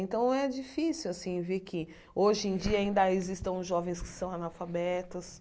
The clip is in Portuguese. Então, é difícil, assim, ver que hoje em dia ainda existam jovens que são analfabetos.